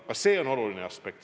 Ka see on oluline aspekt.